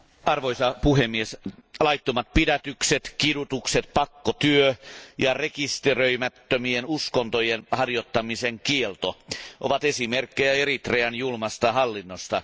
Arvoisa puhemies, laittomat pidätykset, kidutukset, pakkotyö ja rekisteröimättömien uskontojen harjoittamisen kielto ovat esimerkkejä Eritrean julmasta hallinnosta.